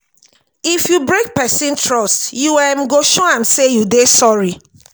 if you break pesin trust you um go show am sey you dey sorry.